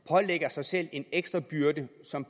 pålægger sig selv en ekstra byrde som